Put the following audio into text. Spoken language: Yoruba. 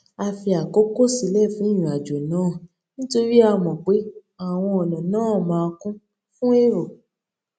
a fi àkókò sílè fún ìrìn àjò náà nítorí a mò pé àwọn ònà náà máa kún fún èrò